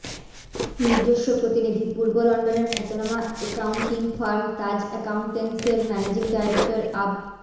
নিজস্ব প্রতিনিধিঃ পূর্ব লন্ডনের খ্যাতনামা একাউন্টিং ফার্ম তাজ একাউন্টেন্টস এর ম্যানেজিং ডাইরেক্টর আব